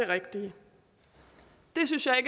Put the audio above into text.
rigtige det synes jeg